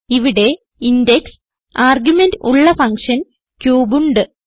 ഇവിടെ int x argument ഉള്ള function cube ഉണ്ട്